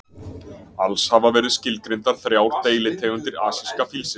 Alls hafa verið skilgreindar þrjár deilitegundir asíska fílsins.